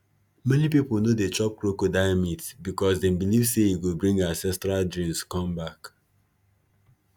many people no dey chop crocodile meat because them believe say e go bring ancestral dreams come back